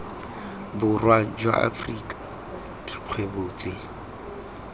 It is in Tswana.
borwa jwa afrika dikgwebo tse